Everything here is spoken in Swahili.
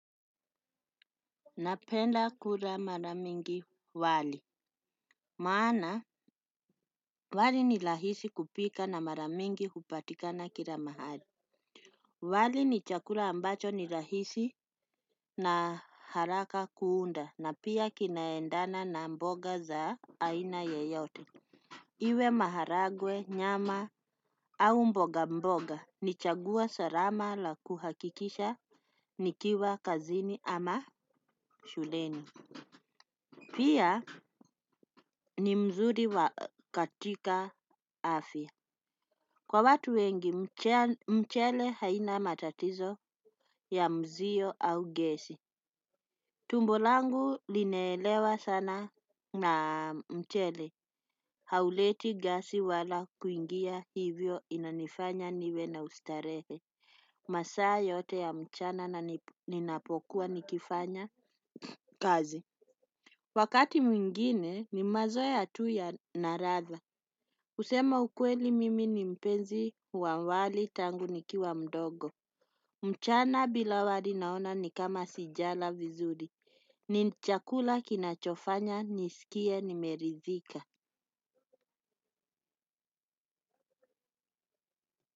Napenda kula mara mingi wali. Maana wali ni rahisi kupika na mara mingi kupatikana kila mahali. Wali ni chakula ambacho ni rahisi na haraka kuunda na pia kinaendana na mboga za aina yoyote. Iwe maharagwe nyama au mboga mboga ni chagua salama la kuhakikisha nikiwa kazini ama shuleni. Pia ni mzuri wa katika afya. Kwa watu wengi mchele haina matatizo ya mzio au gesi. Tumbo langu linaelewa sana na mchele. Hauleti gasi wala kuingia hivyo inanifanya niwe na ustarehe. Masaa yote ya mchana na ninapokuwa nikifanya kazi. Wakati mwingine ni mazoea tu ya naratha. Kusema ukweli mimi ni mpenzi wa wali tangu nikiwa mdogo. Mchana bila wali naona ni kama sijala vizuri. Ni chakula kinachofanya, nisikie, nimeridhika.